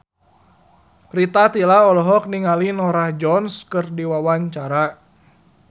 Rita Tila olohok ningali Norah Jones keur diwawancara